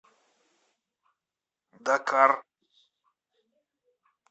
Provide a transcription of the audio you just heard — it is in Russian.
дакар